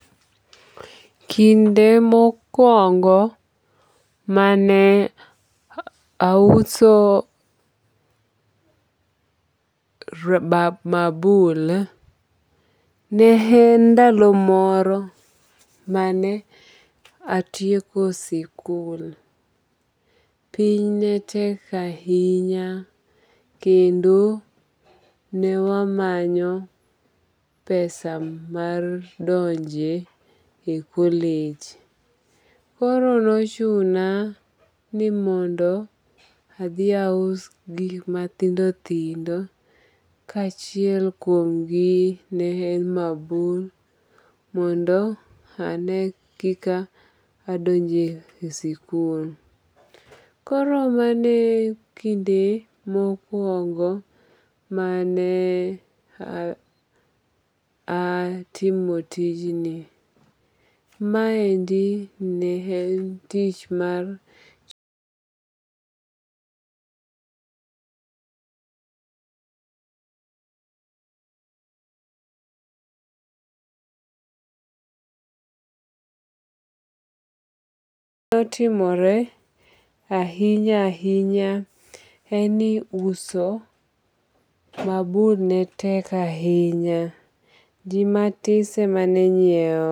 Kinde mokuongo mane auso mabul ne en ndalo moro mane atieko sikul. Piny netek ahinya kendo ne wamanyo pesa mar donje e collage. Koro nochuna ni mondo adhi aus gik mathindo thindo ka achiel kuom gi ne en mabul mondo ane kika adonjo e sikul. Koro mano e kinde mokuongo mane atimo tijni. Maendi ne en tich mar. notimore ahinya ahinya en ni uso mabul ne tek ahinya. Ji matis emane nyiew.